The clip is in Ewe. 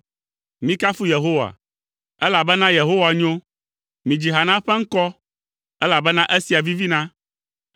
Mikafu Yehowa, elabena Yehowa nyo; midzi ha na eƒe ŋkɔ, elabena esia vivina.